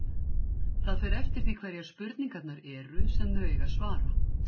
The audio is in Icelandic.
Það fer eftir því hverjar spurningarnar eru, sem þau eiga að svara.